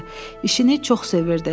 İşini çox sevirdi.